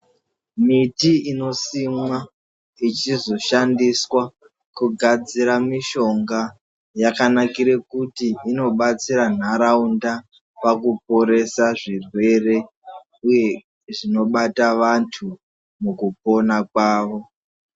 Miti inosimwa ichizoshandiswa kugadzira mishonga yakanakire kuti inobatsire ntaraunda pakuporesa zvirwere uye zvinobata vantu mukupona kwavo.